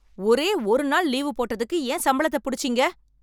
ஒரே ஒரு நாள் லீவு போட்டதுக்கு ஏன் சம்பளத்தை புடிச்சீங்க